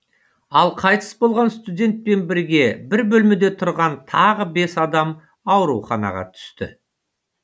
ал қайтыс болған студентпен бірге бір бөлмеде тұрған тағы бес адам ауруханаға түсті